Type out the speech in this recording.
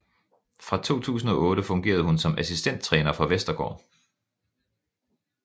Fra 2008 fungerede hun som assistenttræner for Vestergaard